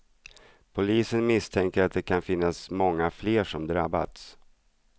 Polisen misstänker att det kan finnas många fler som drabbats.